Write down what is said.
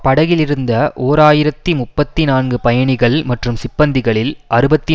படகிலிருந்த ஓர் ஆயிரத்தி முப்பத்தி நான்கு பயணிகள் மற்றும் சிப்பந்திகளில் அறுபத்தி